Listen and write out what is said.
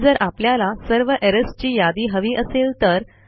पण जर आपल्याला सर्व एरर्स ची यादी हवी असेल तर